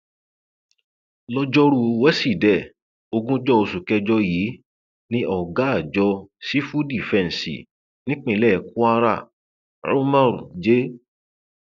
lọjọrùú wíṣídẹẹ ogúnjọ oṣù kẹjọ yìí ni ọgá àjọ sífù dìfẹǹsì nípínlẹ kwara umar j